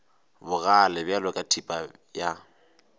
bogale bjalo ka thipa ya